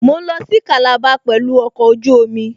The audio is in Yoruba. Mò ń lọ sí Calabar pẹ̀lú ọkọ̀ ojú omi